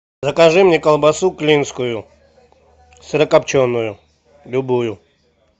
закажи мне колбасу клинскую сырокопченую любую